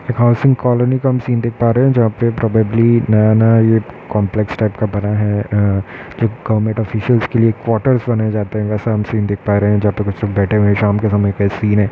एक housing colony का हम सीन देख पा रहे है जहाँ पे प्रोबेबली नया नया ये कॉम्प्लेक्स टाइप का बना है। अ जो गवर्नमेंट ऑफिसीयल्स के लिए क्वार्टर्स बनाये जाते है वैसा हम सीन देख पा रहे है जहाँ पे कुछ सब बैठे हुए हैं। शाम के समय का सीन है।